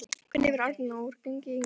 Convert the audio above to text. Hvernig hefur Arnóri gengið hingað til?